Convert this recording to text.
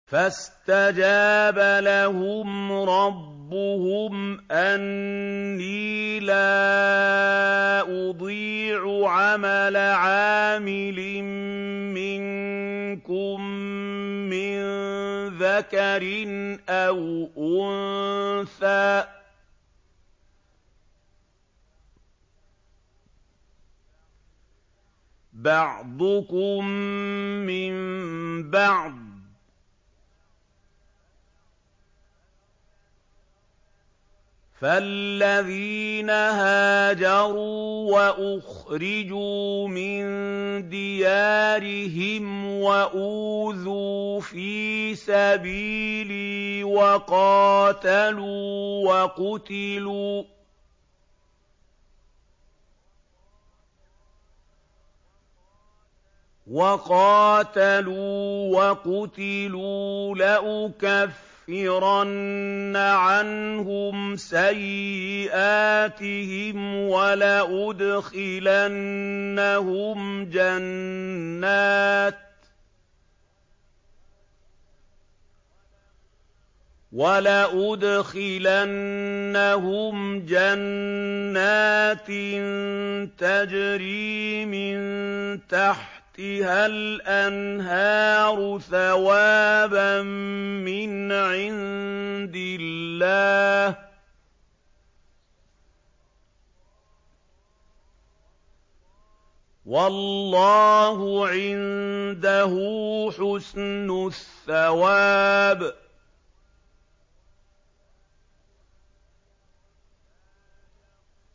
فَاسْتَجَابَ لَهُمْ رَبُّهُمْ أَنِّي لَا أُضِيعُ عَمَلَ عَامِلٍ مِّنكُم مِّن ذَكَرٍ أَوْ أُنثَىٰ ۖ بَعْضُكُم مِّن بَعْضٍ ۖ فَالَّذِينَ هَاجَرُوا وَأُخْرِجُوا مِن دِيَارِهِمْ وَأُوذُوا فِي سَبِيلِي وَقَاتَلُوا وَقُتِلُوا لَأُكَفِّرَنَّ عَنْهُمْ سَيِّئَاتِهِمْ وَلَأُدْخِلَنَّهُمْ جَنَّاتٍ تَجْرِي مِن تَحْتِهَا الْأَنْهَارُ ثَوَابًا مِّنْ عِندِ اللَّهِ ۗ وَاللَّهُ عِندَهُ حُسْنُ الثَّوَابِ